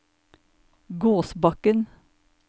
Gåsbakken